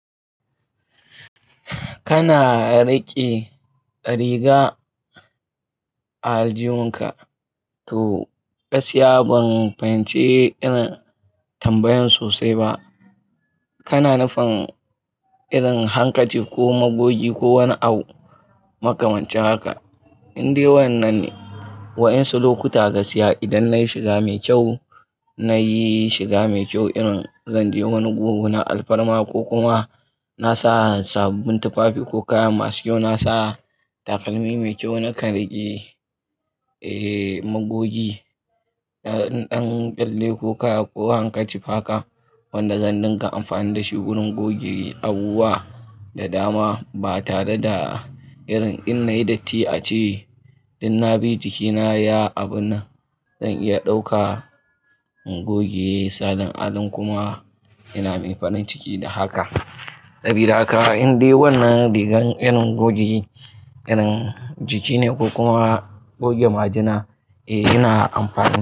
Kana riƙe riga a aljihunka to gaskiya ban fahimci irin tambayan sosai ba. Kana nufin irin hankaci ko magogi ko wani abu makamancin haka? Inde wannan ne wa'insu lokuta gaskiya idan na yi shiga mai kyau, na yi shiga mai kyau irin zan je wani gugu na alfarma ko kuma na sa sabbin tufafi ko kaya masu kyau, na sa takalmi mai kyau, na kai rigar, magogi ɗan ɗanɗalle ko kaya ko hankaci haka wanda zan dinga amfani da shi wurin goge abubuwa da dama ba tare da irin in na yi datti a ce Inda na bi jikina ya abu na zan iya ɗauka goge salon adon kuma yana min farin ciki da haka. Tabira ka indai wannan rigar irin goge irin jiki ne ko kuma goge majina? Eh yana amfana.